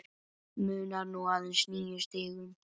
Munar nú aðeins níu stigum.